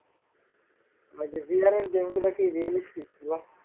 ওই যে VR এর game গুলো কি realistic